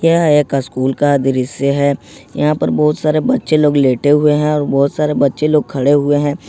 यह एक स्कूल का दृश्य है यहां पर बहुत सारे बच्चे लोग लेटे हुए हैं और बहुत सारे बच्चे लोग खड़े हुए हैं।